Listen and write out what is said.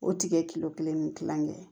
O tigi ye kilo kelen ni kilankɛ ye